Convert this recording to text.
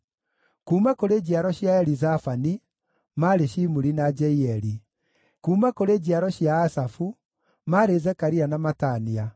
kuuma kũrĩ njiaro cia Elizafani, maarĩ Shimuri na Jeieli; kuuma kũrĩ njiaro cia Asafu, maarĩ Zekaria na Matania;